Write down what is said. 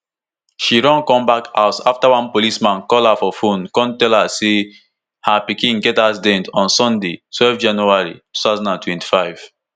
she run comeback house afta one policeman call her for phone kon tell her say her pikin get accident on sunday twelve january two thousand and twenty-five